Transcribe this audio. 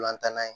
Ntolan tan na ye